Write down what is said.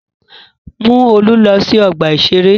Mú Olú lọ sí ọgbà-ìṣeré!